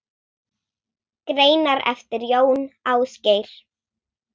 Greinar eftir Jón Ásgeir